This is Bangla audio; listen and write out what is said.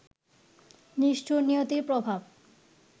নিষ্ঠুর নিয়তির প্রভাব